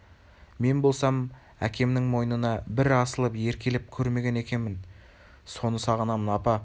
мен болсам әкемнің мойнына бір асылып еркелеп көрмеген екемін соны сағынамын апа